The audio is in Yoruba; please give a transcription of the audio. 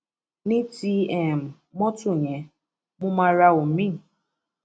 ní ti um mọtò yẹn mo máa ra omiín